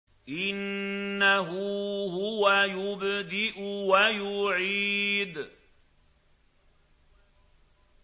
إِنَّهُ هُوَ يُبْدِئُ وَيُعِيدُ